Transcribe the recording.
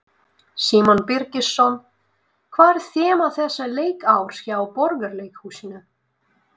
Símon Birgisson: Hvað er þema þessa leikárs hjá Borgarleikhúsinu?